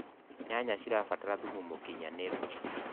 nyanya cirabatara thumu mũũkĩnyanĩru